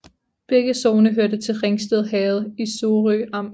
Begge sogne hørte til Ringsted Herred i Sorø Amt